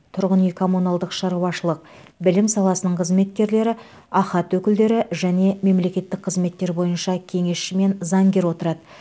тұрғын үй коммуналдық шаруашылық білім саласының қызметкерлері ахат өкілдері және мемлекеттік қызметтер бойынша кеңесші мен заңгер отырады